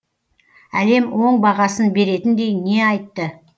әлем оң бағасын беретіндей не айтты